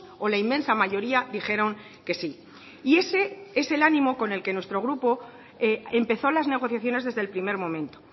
o la inmensa mayoría dijeron que sí y ese es el ánimo con el que nuestro grupo empezó las negociaciones desde el primer momento